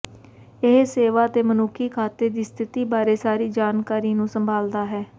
ਇਹ ਸੇਵਾ ਅਤੇ ਮਨੁੱਖੀ ਖਾਤੇ ਦੀ ਸਥਿਤੀ ਬਾਰੇ ਸਾਰੀ ਜਾਣਕਾਰੀ ਨੂੰ ਸੰਭਾਲਦਾ ਹੈ